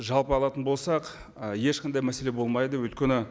жалпы алатын болсақ ы ешқандай мәселе болмайды өйткені